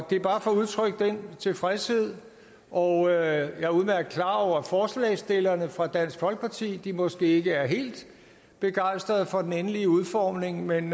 det er bare for at udtrykke den tilfredshed og jeg er udmærket klar over at forslagsstillerne fra dansk folkeparti måske ikke er helt begejstret for den endelige udformning men